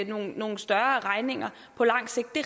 nogle nogle større regninger på lang sigt det